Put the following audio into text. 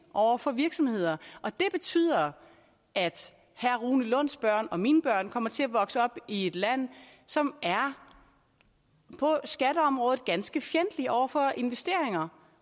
over for virksomheder og det betyder at herre rune lunds børn og mine børn kommer til at vokse op i et land som på skatteområdet er ganske fjendtligt over for investeringer